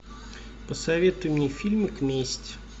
посоветуй мне фильмик месть